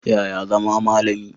Yaya zama malami?